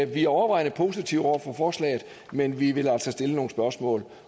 vi er overvejende positive over for forslaget men vi vil altså stille nogle spørgsmål